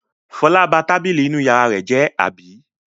Fọlá ba tábìlì inú ìyàrá rẹ̀ jẹ́, àbí?